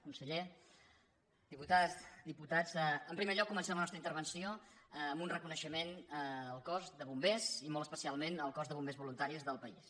conseller diputades diputats en primer lloc comencem la nostra intervenció amb un reconeixement al cos de bombers i molt especialment al cos de bombers voluntaris del país